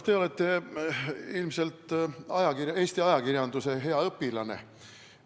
Te olete ilmselt Eesti ajakirjanduse hea õpilane.